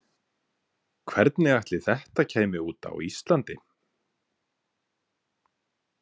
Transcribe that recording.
Hvernig ætli þetta kæmi út á Íslandi?